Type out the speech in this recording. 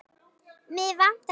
Mig vantar salt.